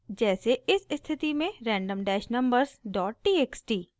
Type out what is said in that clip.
जैसे इस स्थिति में random dash numbers dot txt